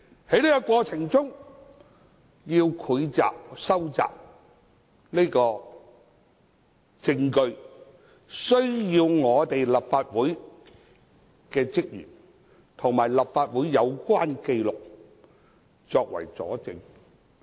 在這個過程中，需要搜集證據，需要立法會職員作證，並提供有關紀錄作為佐證。